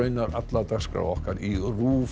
alla dagskrá okkar í RÚV